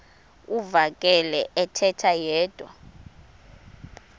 uvakele ethetha yedwa